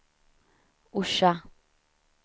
Orsa